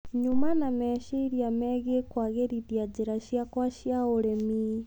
Nyuma na meciria megie kũagĩrithia njĩra ciakwa cia ũrĩmi.